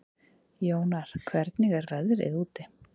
Jónar, hvernig er veðrið úti?